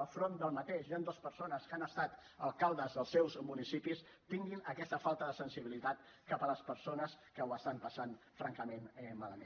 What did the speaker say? al front del qual hi han dues persones que han estat alcaldes dels seus municipis tingui aquesta falta de sensibilitat cap a les persones que ho estan passant francament malament